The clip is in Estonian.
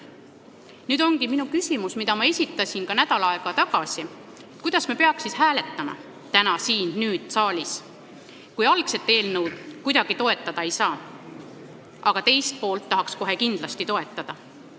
Nüüd ongi minu küsimus, mille ma esitasin ka nädal aega tagasi: kuidas me peaks siis hääletama, kui algset eelnõu kuidagi toetada ei saa, aga selle teist poolt tahaks kindlasti toetada?